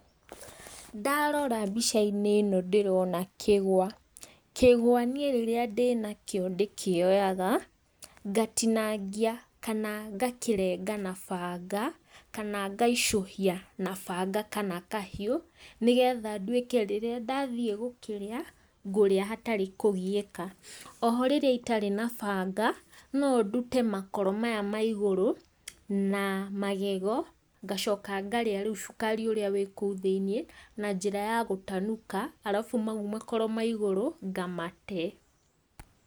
Ndarora mbica-inĩ ĩno ndĩrona kĩgwa. Kĩgwa niĩ rĩrĩa ndĩnakĩo ndĩkĩoyaga ngatinangia, kana ngakĩrenga na banga, kana ngaicũhia na banga, kana kahiũ nĩgetha nduĩke rĩrĩa ndathiĩ gũkĩrĩa ngũrĩa hatarĩ kũginyĩka. Oho rĩrĩa itarĩ na banga no ndũte makoro maya ma igũrũ na magego ngacoka ngarĩa rĩu cukari ũrĩa wĩkũu thĩiniĩ na njĩra ya gũtanuka, arabu mau makoro ma igũrũ ngamate.